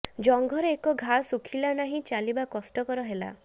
ଜଙ୍ଘରେ ଏକ ଘା ଶୁଖିଲା ନହିଁ ଚାଲିବା କଷ୍ଟ ହେଲା